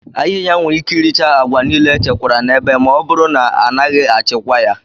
Ahịhịa nwere ike iricha agwa niile echekwara n'ebe ma ọ bụrụ na a naghị achịkwa ya.